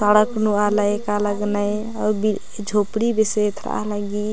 सड़क नू आलर ऐका लगनए अऊर झोपडी बेसे एथरा ली।